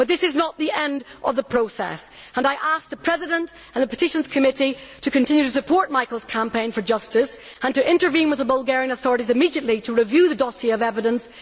But this is not the end of the process, and I ask the President and the Committee on Petitions to continue to support Michael's campaign for justice and to intervene with the Bulgarian authorities immediately to review the dossier of evidence.